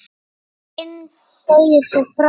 Heinz segir svo frá: